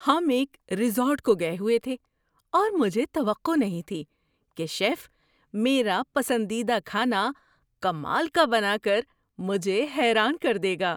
ہم ایک ریزورٹ کو گئے ہوئے تھے اور مجھے توقع نہیں تھی کہ شیف میرا پسندیدہ کھانا کمال کا بنا کر مجھے حیران کر دے گا۔